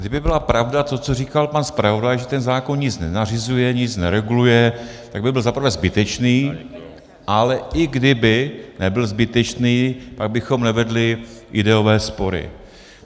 Kdyby byla pravda to, co říkal pan zpravodaj, že ten zákon nic nenařizuje, nic nereguluje, tak by byl zaprvé zbytečný, ale i kdyby nebyl zbytečný, tak bychom nevedli ideové spory.